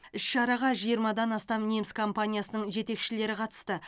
іс шараға жиырмадан астам неміс компаниясының жетекшілері қатысты